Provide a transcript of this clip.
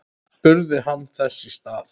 spurði hann þess í stað.